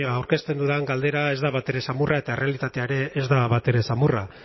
aurkezten dudan galdera ez da batere samurra eta errealitatea ere ez da batere samurra